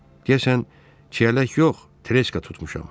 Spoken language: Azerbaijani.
Deyəsən çiyələk yox, treşka tutmuşam.